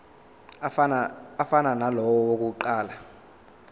afana nalawo awokuqala